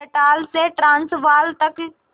Natal से Transvaal तक